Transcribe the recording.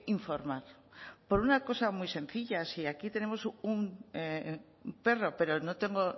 informar por una cosa muy sencilla si aquí tenemos un perro pero no tengo